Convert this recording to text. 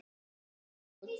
Alltaf brúnn.